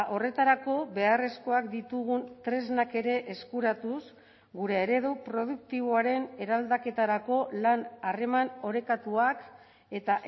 horretarako beharrezkoak ditugun tresnak ere eskuratuz gure eredu produktiboaren eraldaketarako lan harreman orekatuak eta